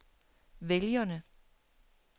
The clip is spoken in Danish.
vælgerne